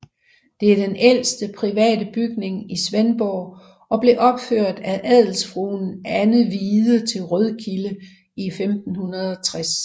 Det er den ældste private bygning i Svendborg og blev opført af adelsfruen Anne Hvide til Rødkilde i 1560